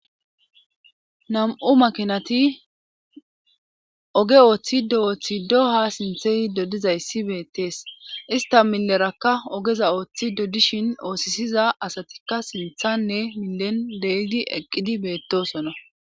nam7u makinati oge ooththi do7ooththido ha sinthe yido dizaysi beettees ista millerakka ogeza ooththi dodishin oosisiza asatikka sinthanne milen deydi eqqidi beettosona